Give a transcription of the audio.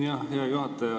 Aitäh, hea juhataja!